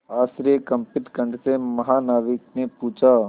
आश्चर्यकंपित कंठ से महानाविक ने पूछा